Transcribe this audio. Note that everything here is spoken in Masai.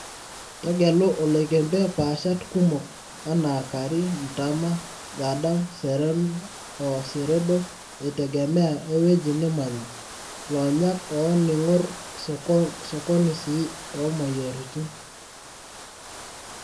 tegelu oloikembe paashat kumok anaa KARI mtama-1,Gadam, Serena, oo Seredo, eitegemea ewueji nimanya, loonyak o ningor sokoni sii omoyiaritin